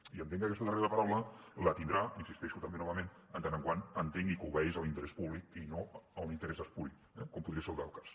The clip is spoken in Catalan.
i entenc que aquesta darrera paraula la tindrà i hi insisteixo també novament en tant que entengui que obeeix a l’interès públic i no a un interès espuri eh com podria ser el del cas